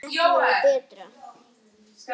Missir sem ekki verður bættur.